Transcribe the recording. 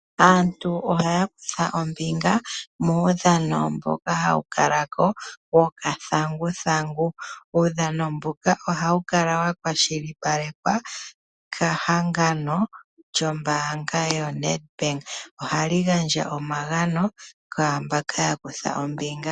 Aantu ohaya kutha ombinga muudhano mboka hawu kalako wokathanguthangu, uudhano mbuka ohawu kala wakwashilipalekwa kehangano lyombaanga yoNedbank. Ohali gandja omagano kwaamboka yakutha ombinga.